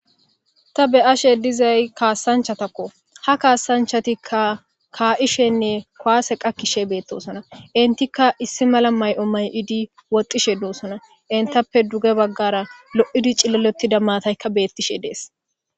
Ta be'ashe dizayis kasanichatako ha kasanichatika kaishene ku'ase qakishe betesona initika issi mala mayo mayidi woxishe do'sona henitape duge bagara lo'di ciliza matayika betishe de'es